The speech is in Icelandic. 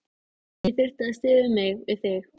Ég þurfti að styðja mig við þig.